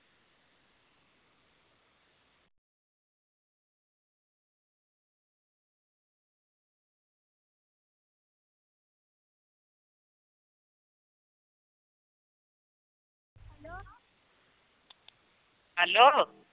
Hello